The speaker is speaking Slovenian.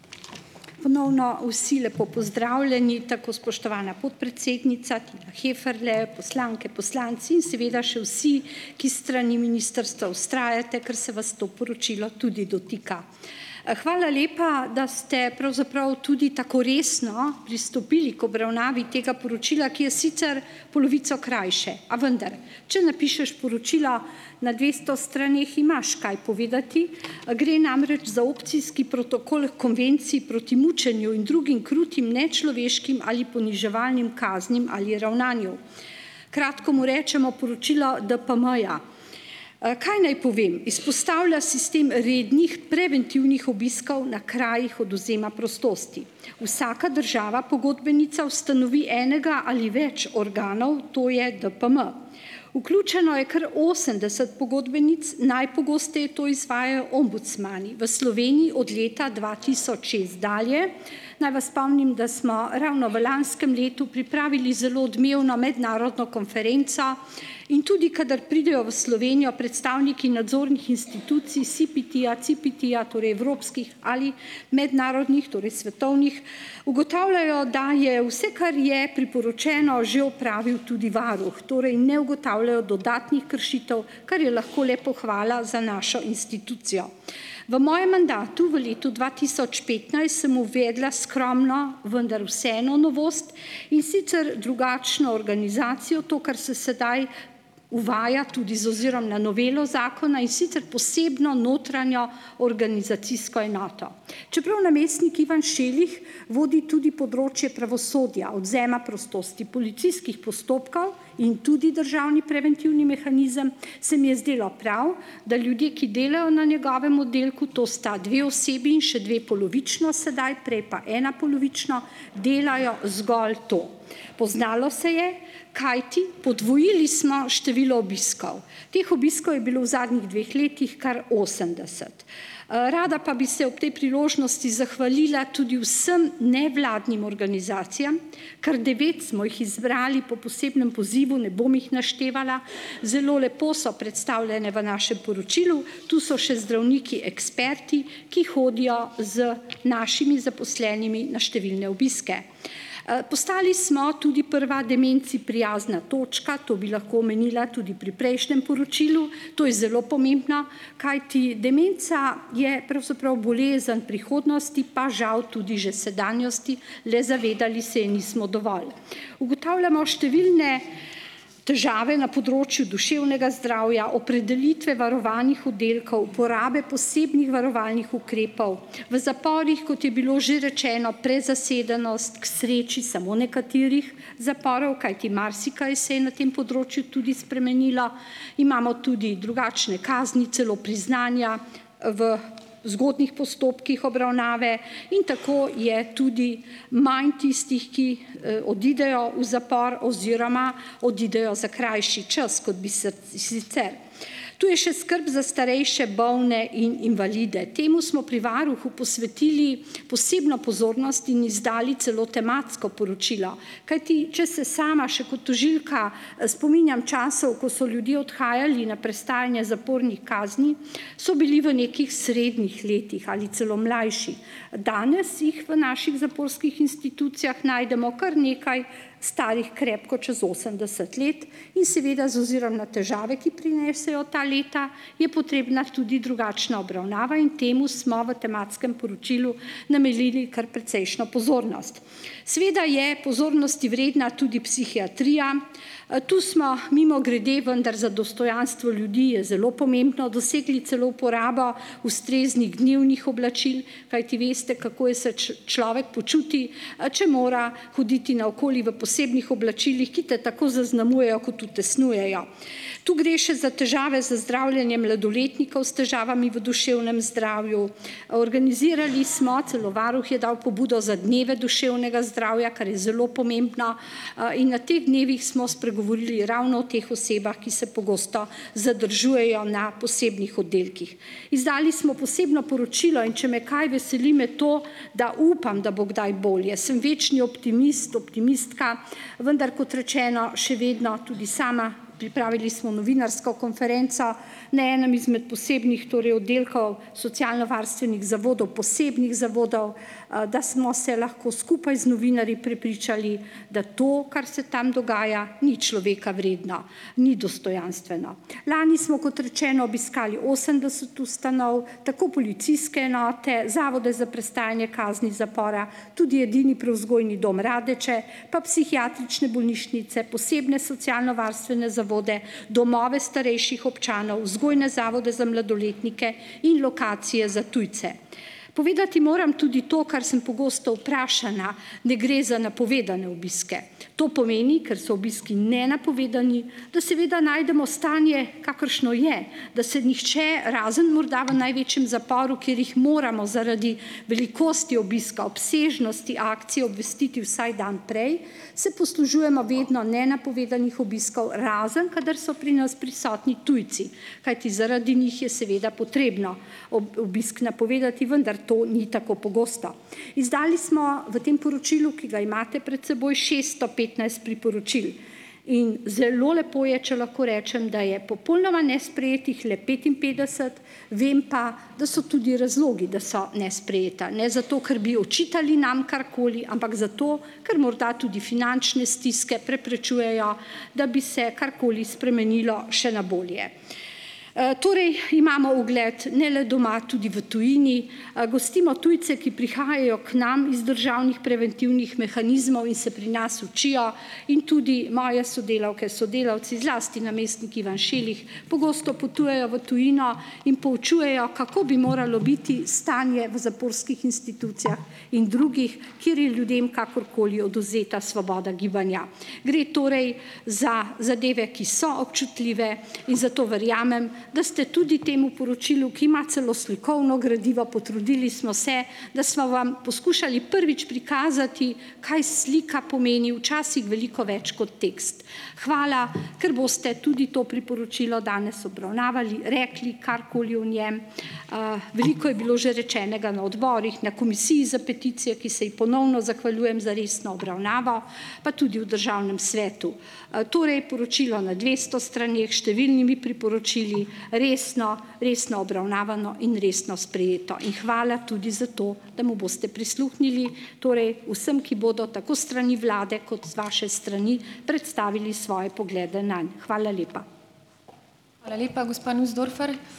Ponovno vsi lepo pozdravljeni, tako spoštovana podpredsednica, Tina Heferle, poslanke, poslanci in seveda še vsi, ki s strani ministrstva vztrajate, ker se vas to poročilo tudi dotika! Hvala lepa, da ste pravzaprav tudi tako resno pristopili k obravnavi tega poročila, ki je sicer polovico krajše, a vendar, če napišeš poročila na dvesto straneh, imaš kaj povedati, gre namreč za opcijski protokol Konvenciji proti mučenju in drugim krutim, nečloveškim ali poniževalnim kaznim ali ravnanju. Kratko mu rečemo poročilo DPM-ja. Kaj naj povem? Izpostavlja sistem rednih, preventivnih obiskov na krajih odvzema prostosti. Vsaka država pogodbenica ustanovi enega ali več organov, to je DPM. Vključeno je kar osemdeset pogodbenic, najpogosteje to izvajajo ombudsmani v Sloveniji, od leta dva tisoč šest dalje. Naj vas spomnim, da smo ravno v lanskem letu pripravili zelo odmevno mednarodno konferenco, in tudi kadar pridejo v Slovenijo predstavniki nadzornih institucij SPT-ja, CPT-ja, torej evropskih ali mednarodnih, torej svetovnih, ugotavljajo, da je, vse, kar je priporočeno, že opravil tudi varuh. Torej, ne ugotavljajo dodatnih kršitev, kar je lahko le pohvala za našo institucijo. V mojem mandatu v letu dva tisoč petnajst sem uvedla skromno, vendar vseeno novost, in sicer drugačno organizacijo, to, kar se sedaj uvaja, tudi z ozirom na novelo zakona, in sicer posebno notranjo organizacijsko enoto. Čeprav namestnik Ivan Šelih vodi tudi področje pravosodja, odvzema prostosti, policijskih postopkov in tudi državni preventivni mehanizem, se mi je zdelo prav, da ljudje, ki delajo na njegovem oddelku, to sta dve osebi in še dve polovično sedaj, prej pa ena polovično, delajo zgolj to. Poznalo se je, kajti podvojili smo število obiskov. Teh obiskov je bilo v zadnjih dveh letih kar osemdeset. Rada pa bi se ob tej priložnosti zahvalila tudi vsem nevladnim organizacijam. Kar devet smo jih izbrali po posebnem pozivu, ne bom jih naštevala. Zelo lepo so predstavljene v našem poročilu. Tu so še zdravniki eksperti, ki hodijo z našimi zaposlenimi na številne obiske. Postali smo tudi prva demenci prijazna točka. To bi lahko omenila tudi pri prejšnjem poročilu. To je zelo pomembna. Kajti demenca je pravzaprav bolezen prihodnosti, pa žal tudi že sedanjosti, le zavedali se je nismo dovolj. Ugotavljamo številne težave na področju duševnega zdravja, opredelitve varovanih oddelkov, porabe posebnih varovalnih ukrepov. V zaporih, kot je bilo že rečeno, prezasedenost, k sreči samo nekaterih zaporov, kajti marsikaj se je na tem področju tudi spremenilo. Imamo tudi drugačne kazni, celo priznanja, v zgodnjih postopkih obravnave in tako je tudi manj tistih, ki, odidejo v zapor oziroma odidejo za krajši čas, kot bi sicer. Tu je še skrb za starejše, bolne in invalide. Temu smo pri varuhu posvetili posebno pozornosti in izdali celo tematsko poročilo, kajti če se sama še kot tožilka, spominjam časov, ko so ljudje odhajali na prestajanje kazni zapornih, so bili v nekih srednjih letih ali celo mlajši, danes jih v naših zaporskih institucijah najdemo kar nekaj, starih krepko čez osemdeset let, in seveda z ozirom na težave, ki prinesejo ta leta, je potrebna tudi drugačna obravnava in temu smo v tematskem poročilu namenili kar precejšno pozornost. Seveda je pozornosti vredna tudi psihiatrija. Tu smo, mimogrede, vendar za dostojanstvo ljudi je zelo pomembno, dosegli celo porabo ustreznih dnevnih oblačil, kajti veste, kako je se človek počuti, če mora hoditi naokoli v posebnih oblačilih, ki te tako zaznamujejo kot utesnjujejo. Tu gre še za težave z zdravljenjem mladoletnikov s težavami v duševnem zdravju. Organizirali smo, celo varuh je dal pobudo, za Dneve duševnega zdravja, kar je zelo pomembno, in na teh dnevih smo spregovorili ravno o teh osebah, ki se pogosto zadržujejo na posebnih oddelkih. Izdali smo posebno poročilo, in če me kaj veseli, me to, da upam, da bo kdaj bolje. Sem večni optimist, optimistka, vendar kot rečeno, še vedno tudi sama. Pripravili smo novinarsko konferenco na enem izmed posebnih, torej oddelkov socialnovarstvenih zavodov, posebnih zavodov, da smo se lahko skupaj z novinarji prepričali, da to, kar se tam dogaja, ni človeka vredno, ni dostojanstveno. Lani smo kot rečeno obiskali osemdeset ustanov, tako policijske enote, zavode za prestajanje kazni zapora. Tudi edini Prevzgojni dom Radeče pa psihiatrične bolnišnice, posebne socialnovarstvene zavode, domove starejših občanov, vzgojne zavode za mladoletnike in lokacije za tujce. Povedati moram tudi to, kar sem pogosto vprašana. Ne gre za napovedane obiske. To pomeni, ker so obiski nenapovedani, da seveda najdemo stanje, kakršno je, da se nihče, razen morda v največjem zaporu, kjer jih moramo zaradi velikosti obiska, obsežnosti akcije obvestiti vsaj dan prej, se poslužujemo vedno nenapovedanih obiskov, razen kadar so pri nas prisotni tujci. Kajti, zaradi njih je seveda potrebno obisk napovedati, vendar to ni tako pogosto. Izdali smo, v tem poročilu, ki ga imate pred seboj, šeststo petnajst priporočil in zelo lepo je, če lahko rečem, da je popolnoma nesprejetih le petinpetdeset, vem pa, da so tudi razlogi, da so nesprejeta. Ne zato, ker bi očitali nam karkoli, ampak zato, ker morda tudi finančne stiske preprečujejo, da bi se karkoli spremenilo še na bolje. Torej imamo ugled, ne le doma, tudi v tujini. Gostimo tujce, ki prihajajo k nam iz državnih preventivnih mehanizmov in se pri nas učijo, in tudi moje sodelavke, sodelavci, zlasti namestnik Ivan Šilih, pogosto potujejo v tujino in poučujejo, kako bi moralo biti stanje v zaporskih institucijah in drugih, kjer je ljudem kakorkoli odvzeta svoboda gibanja. Gre torej za zadeve, ki so občutljive in zato verjamem, da ste tudi temu poročilu, ki ima celo slikovno gradivo, potrudili smo se da sva vam poskušali prvič prikazati, kaj slika pomeni, včasih veliko več kot tekst. Hvala, ker boste tudi to priporočilo danes obravnavali, rekli karkoli o njem. Veliko je bilo že rečenega na odborih, na Komisiji za peticije, ki se ji ponovno zahvaljujem za resno obravnavo. pa tudi v državnem svetu. Torej, poročilo na dvesto straneh, s številnimi priporočili, resno, resno obravnavano in resno sprejeto. In hvala tudi za to, da mu boste prisluhnili, torej vsem, ki bodo tako s strani vlade kot z vaše strani predstavili svoje poglede nanj. Hvala lepa.